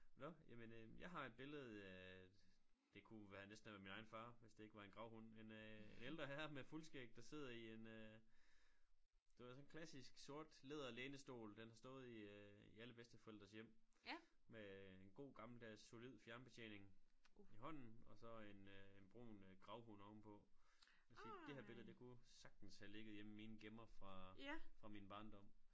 Nåh jamen øh jeg har et billede af det kunne være næsten være min egen far hvis det ikke var en gravhund en øh en ældre herre med fuldskæg der sidder i en øh du ved sådan en klassisk sort læder lænestol der har stået i alle bedsteforældres hjem med en god gammeldags solid fjernbetjening i hånden og så en øh en brun øh gravhund ovenpå vil sige det her billede det kunne sagtens have ligget hjemme i min gemmer fra fra min barndom